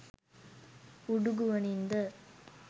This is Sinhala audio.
උඩු ගුවනින් ද?